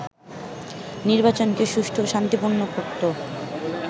নির্বাচনকে সুষ্ঠু ও শান্তিপূর্ণ করত